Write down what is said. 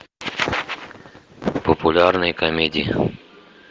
популярные комедии